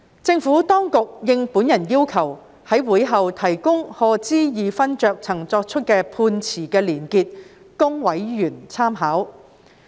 政府當局亦已應我要求，在會後提供賀知義勳爵曾作出的判詞連結供委員參考。